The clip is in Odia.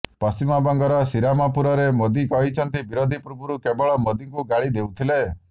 ପଶ୍ଚିମବଙ୍ଗର ଶ୍ରୀରାମପୁରରେ ମୋଦି କହିଛନ୍ତି ବିରୋଧୀ ପୂର୍ବରୁ କେବଳ ମୋଦିଙ୍କୁ ଗାଳି ଦେଉଥିଲେ